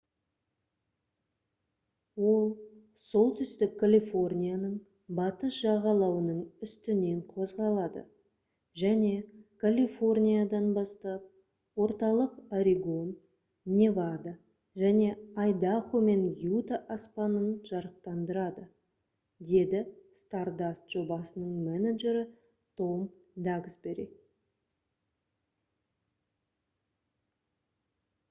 «ол солтүстік калифорнияның батыс жағалауының үстінен қозғалады және калифорниядан бастап орталық орегон невада және айдахо мен юта аспанын жарықтандырады» - деді stardust жобасының менеджері том даксбери